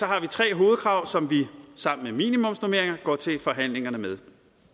har vi tre hovedkrav som vi sammen med minimumsnormeringer går til forhandlingerne med